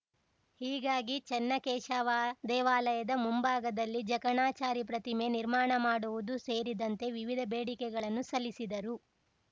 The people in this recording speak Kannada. ಹೀಗಾಗಿ ಚನ್ನಕೇಶವ ದೇವಾಲಯದ ಮುಂಭಾಗದಲ್ಲಿ ಜಕಣಾಚಾರಿ ಪ್ರತಿಮೆ ನಿರ್ಮಾಣ ಮಾಡುವುದು ಸೇರಿದಂತೆ ವಿವಿಧ ಬೇಡಿಕೆಗಳನ್ನು ಸಲ್ಲಿಸಿದರು